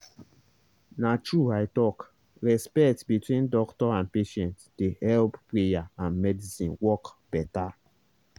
na true i talk—respect between doctor and patient dey help prayer and medicine work better.